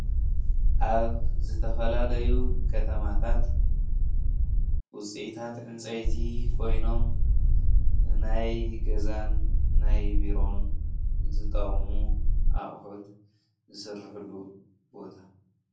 ኣብ ዝተፈላለዩ ኸተማታት ውፅኢታት ዕንፀይቲ ኾይኖም ንናይ ገዛን ናይ ቢሮን ዝጠቅሙ ኣቁሑት ዝስርሕሉ ቦታ።